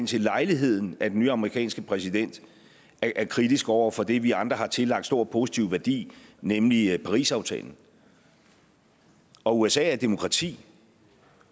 til lejligheden at den nye amerikanske præsident er kritisk over for det vi andre har tillagt stor positiv værdi nemlig parisaftalen og usa er et demokrati